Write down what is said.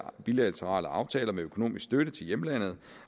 bilaterale aftaler med økonomisk støtte til hjemlandet